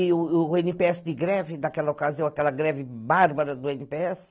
E o ene pê esse de greve daquela ocasião, aquela greve bárbara do ene pê esse